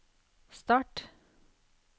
start